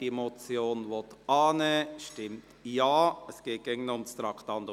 Wer diese Motion annehmen will, stimmt Ja – es geht immer noch um Traktandum 38 –,